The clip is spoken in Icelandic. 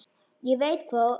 Ég veit hvað þú ert.